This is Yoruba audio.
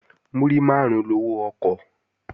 Múrí máàrún lowó ọkọ̀